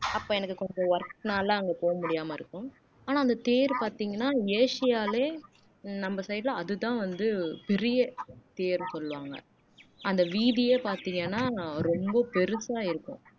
அப்போ எனக்கு கொஞ்சம் work னால அங்க போக முடியாம இருக்கும் ஆனா அந்த தேர் பாத்தீங்கன்னா ஆசியாலே உம் நம்ம side ல அதுதான் வந்து பெரிய தேர் சொல்லுவாங்க அந்த வீதியே பாத்தீங்கன்னா ரொம்ப பெருசா இருக்கும்